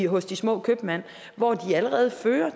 hos de små købmænd hvor de allerede fører